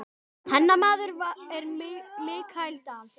Hennar maður er Michael Dal.